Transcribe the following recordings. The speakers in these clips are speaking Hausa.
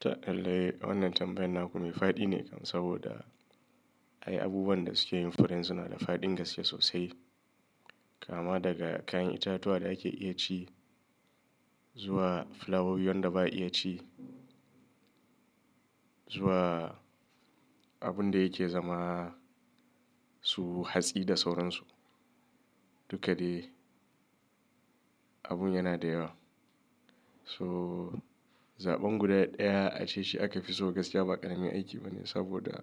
Ta lalei wannan tambayan naku mai faɗi ne kam saboda ai abubuwan da suke yin furen suna da faɗin gaskiya sosai. Kama daga kayan itatuwa da ake iya ci zuwa flawowi wanda ba a iya ci, zuwa abun da yake zama su hatsi da sauransu. Duka dai abun yana da yawa. So zaɓan guda ɗaya ace shi aka fi so gaskiya ba ƙarami aiki bane saboda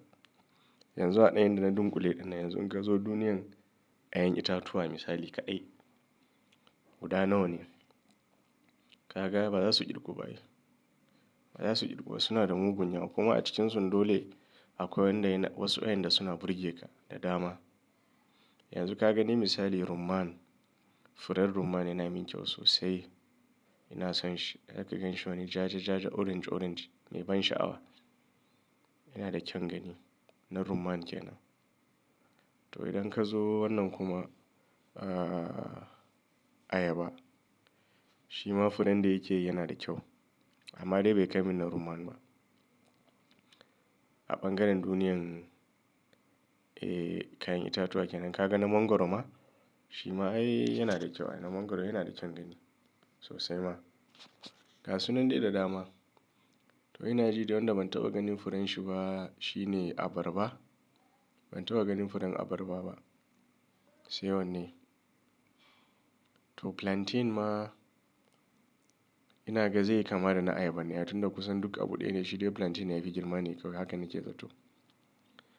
yanzu a da inda na dunƙule ɗinna. Yanzu in ka zo duniyan kayan itatuwa misali kaɗai, guda nawa ne? Ka ga ba za su irgu ba yi. Ba za su irgu ba suna da mugun yawa kuma a cikinsu dole akwai wanda yana wasu kayan da suna burge ka da dama. Yanzu ka gani misali rumman, furen rumman yana min kyau sosai. Ina son shi. Idan ka gan shi wani ja ja ja orange orange mai ban sha'awa. Yana da kyaun gani na rumman ke nan. To idan ka zo wannan kuma, ahhh ayaba shima furen da yake yi yana da kyau amma dai bai kai min na rumman ba. A ɓangaren duniyan eh kayan itatuwa ke nan. Ka ga na mangwaro ma? Shi ma ae yana da kyau. Na mangwaro yana da kyaun gani sosai ma. Ga suna nan dai da dama. To ina ji dai wanda ban taɓa ganin furen shi ba shine abarba. Ban taɓa ganin furen abarba ba. Sai wannan ne. To plantain ma ina ga zaiyi kama da na ayaba ne. Aitunda kusan duk abu ɗaya ne shi dai plantain yayi firgarma ne kawai haka na ce zato.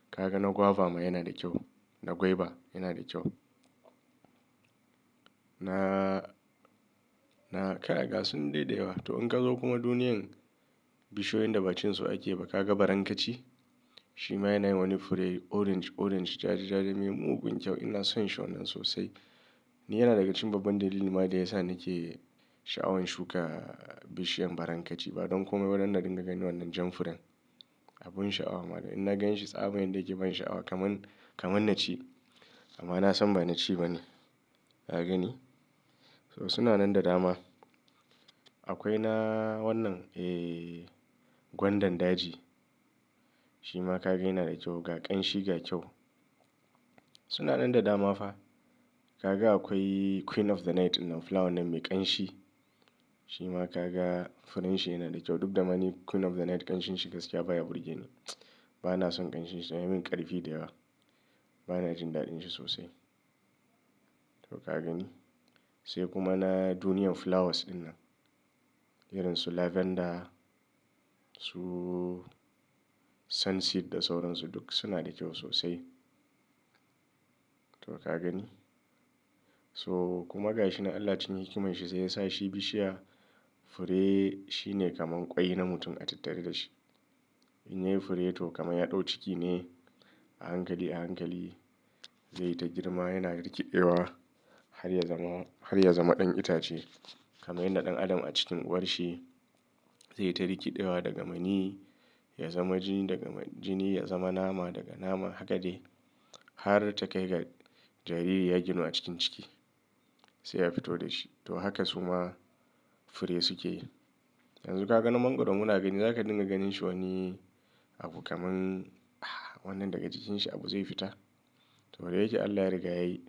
Ka ga na guava ma yana da kyau. Na gwaiba yana da kyau. Na, na kai haka suna nan da yawa. To in ka zo kuma duniyan bishiyoyin da bacin su ake ba ka ga barankaci. Shi ma yana wani fure orange orange ja ja ja mai mugun kyau. Ina son shi wannan sosai. Ni yana daga cikin babban dalili ma da yasa nake sha'awan shuka bishiyan barankaci ba don komai ba dan na dinga ganin wannan jan furen. Abun sha'awa ma da in na ganshi tsaban yanda yake ban sha'awa kaman, kaman na ci amma na san ba na ci ba ne. Ka gani? So suna nan da dama. Akwai na wannan eh gwandan daji. Shi ma ka ga yana da kyau ga ƙanshi ga kyau. Suna nan da dama fa. Ka ga akwai queen of the night innan flower nan mai ƙanshi. Shi ma ka ga furen shi yana da kyau duk da ma ni queen of the night ƙanshin shi gaskiya baya burge ni. Ba na son ƙanshin shi. Ya min ƙarfi da yawa. Ba na jin daɗin shi sosai. To ka gani? Sai kuma na duniyan flowers ɗinnan. Irin su lavender, su sunset da sauransu duk suna da kyau sosai. To ka gani? So kuma ga shi na Allah cikin hikiman shi sai yasa shi bishiya fure shi ne kamar ƙwai na mutum a tattare da shi. In yayi fure to kamar ya ɗau ciki ne a hankali a hankali zai ta girma yana rikiɗe wa har ya zama, har ya zama ɗan itace. Kamar yadda ɗan adam a cikin uwarshi zai ta rikiɗewa daga mani ya zama jini daga jini ya zama nama daga nama haka dai har ta kai ga jariri ya ginu a cikin ciki sai a fito da shi. To haka suma fure suke yi. Yanzu ka ga na mangwaro muna gani zaka dinga ganin shi wani abu kaman ah wannan daga cikinsa abu zai fita. To wada yake Allah ya riga yayi.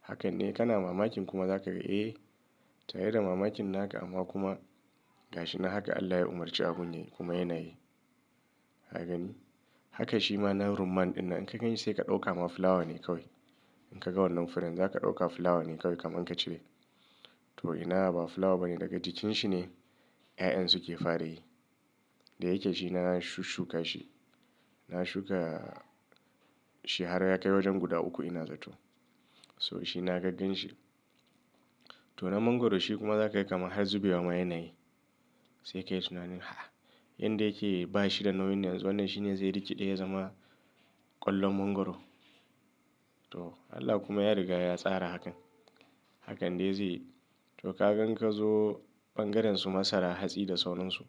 Haka ne kana mamakin kuma zaka ga "eh" tare da mamakin naka amma kuma ga shi na haka Allah ya umarci abun yake kuma yana yi. Ka gani? Haka shi ma na rumman dinnan in ka gan shi sai ka ɗauka ama flower ne kawai. In ka ga wannan furen zaka ɗauka flower ne kawai kaman ka cire. To ina ba flower ba ne daga cikin shi ne 'ya'yan suke fara yi. Da yake shi na shushshuka shi. Na shuka shi har ya kai wajen guda uku ina zato. So shi na gan gan shi. To na mangwaro shi kuma zaka yi kamar har zubewa ma yana yi. Sai ka yi tunanin ha yanda yake ba shi da nauyin yanzu wannan shi ne zai rikiɗe ya zama ƙwallon mangwaro. To Allah kuma ya riga ya tsara hakan. Hakan dai zai yi. To ka gan ka zo ɓangaren su masara hatsi da sauransu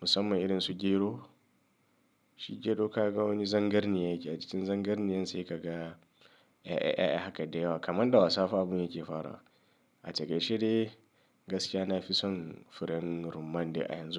musamman irin su gero. Shi gero ka ga wani zangarni yake a cikin zangarniyan sai ka ga 'ya'ya 'ya'ya haka dai yawa kamar da wasafabun yake farawa. A taƙaice dai gaskiya na fi son furen rumman da a yanzu.